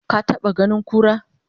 ka taɓa ganin kura?